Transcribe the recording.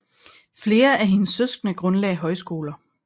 Flere af hendes søskende grundlagde højskoler